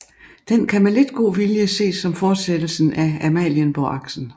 Den kan med lidt god vilje ses som fortsættelsen af Amalienborgaksen